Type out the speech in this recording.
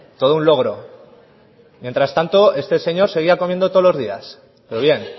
todo un logro mientras tanto este señor seguía comiendo todos los días pero bien